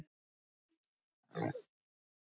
Oj bara en það er ekki þér að kenna